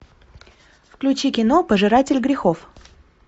включи кино пожиратель грехов